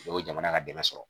o ye jamana ka dɛmɛ sɔrɔ